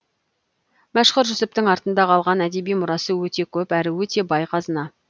мәшһүр жүсіптің артында қалған әдеби мұрасы өте көп әрі өте бай қазына